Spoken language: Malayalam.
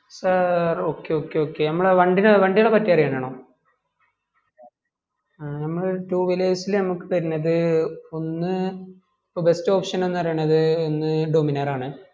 ആഹ് okay okay okay നമ്മുടെ വണ്ടിനെ വണ്ടികളെ പറ്റി അറിയാൻ ആണോ അ നമ്മൾ two wheelers ൽ നമക്ക് തരുന്നത് ഒന്ന് best option എന്ന് പറീണത് ഒന്ന് Dominar ആണ്